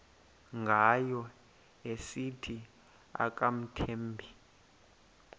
ngayo esithi akamthembi